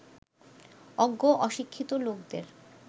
অজ্ঞ অশিক্ষিত লোকদের